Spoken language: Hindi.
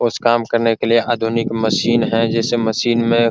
कुछ काम करने के लिए आधुनिक मशीन हैं जिस मशीन में --